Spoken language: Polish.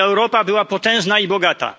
Europa była potężna i bogata.